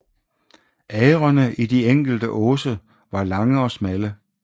Agrene i de enkelte åse var lange og smalle